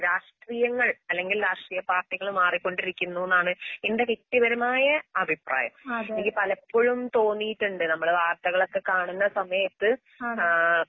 രാഷ്ട്രീയങ്ങൾ അല്ലെങ്കിൽരാഷ്ട്രീയപാർട്ടികൾമാറിക്കൊണ്ടിരിക്കുന്നൂന്നാണ് എൻ്റെവ്യക്തിപരമായ അഭിപ്രായം. എനിക്ക് പലപ്പൊഴുംതോന്നീട്ടുണ്ട് നമ്മള് വാർത്തകളൊക്കെകാണുന്നസമയത്ത് ആഹ്